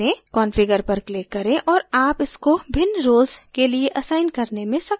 configure पर click करें और आप इसको भिन्न roles के लिए असाइन करने में सक्षम होंगे